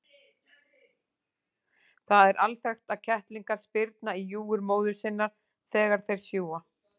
Það er alþekkt að kettlingar spyrna í júgur móður sinnar þegar þeir sjúga.